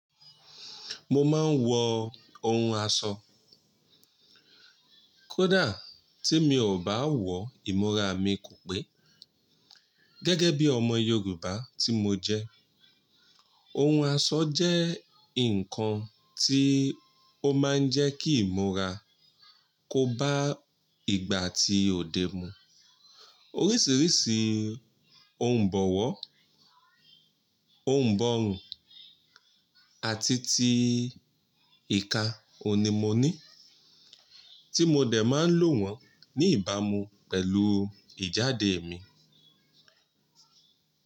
Mo máa ń wọ ohun aṣọ. Kódà tí mi ò bá wọ, ìmúra mi kò pé. Gẹ́gẹ́ bí ọmọ Yorùbá tí mo jẹ́, ohun aṣọ jẹ́ nǹkan tí ó máa ń jẹ́ kí ìmúra kó bá ìgbà ti òde mu. Oríṣiríṣi ohun ìbọ̀wọ́, ohun ìbọ̀rùn àti ti ìka òní mo ní, tí mo dẹ̀ máa ń lò wọ́n ní ìbámu pẹ̀lú ìjáde mi.